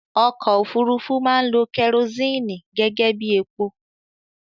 Ọkọ òfúrufú máa ń lo kerosini gẹ́gẹ́bí epo